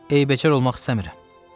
Eyibəcər olmaq istəmirəm.